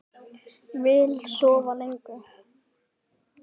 Vill sofa lengur.